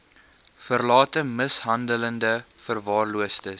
verlate mishandelde verwaarloosde